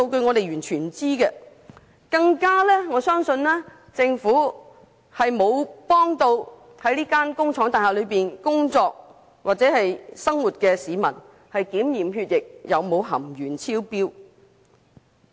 我更加相信政府並沒有向在這幢工廠大廈工作或生活的市民提供協助，讓他們檢驗血液含鉛量有否超標。